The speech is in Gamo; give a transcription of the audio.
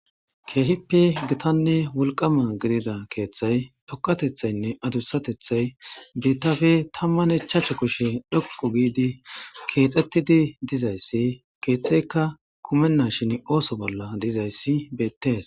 Keehippe gita wollqama kethay dhoqatethay adusatethay bitape tamane ichashu kushe dhoqa kexettidi dizaysi ketheyka kumenashin osso bolla dizaysi bettes